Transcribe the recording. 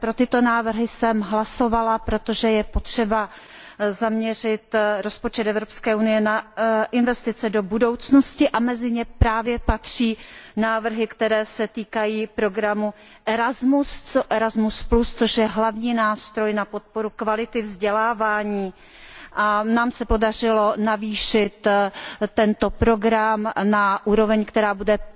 Pro tyto návrhy jsem hlasovala, protože je potřeba zaměřit rozpočet EU na investice do budoucnosti a mezi ně právě patří návrhy, které se týkají programu Erasmus, což je hlavní nástroj na podporu kvality vzdělávání, a nám se podařilo navýšit tento program na úroveň, která bude